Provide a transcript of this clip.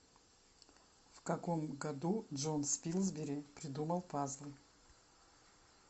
в каком году джон спилсбери придумал пазлы